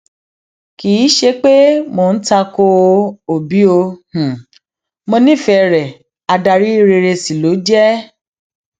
kì í ṣe pé mò ń ta ko òbí o mọ nífẹẹ rẹ adarí rere sí ló jẹ